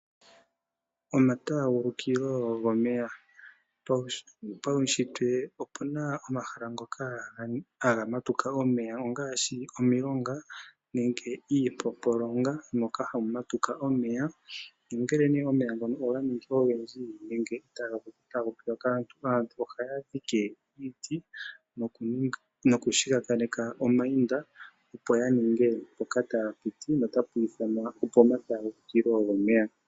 Omataagulukilo gomeya paushitwe opena omahala ngoka haga matuka omeya ongaashi omilonga nenge iimpompolonga moka hawu matuka omeya nongele nee omeya ngoka oganingi ogendji aantu ohaa dhike iiti nokushigakaneka omainda opo ya ninge mpoka taa piti notapu ithanwa opo maatagulukilo gomeya.